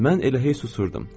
Mən elə hey susurdum.